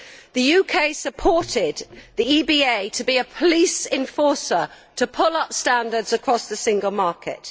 The UK supported the EBA to be a police enforcer to pull up standards across the single market.